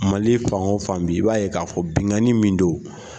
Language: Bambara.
Mali fan fan bi i b'a ye k'a fɔ bingani min don.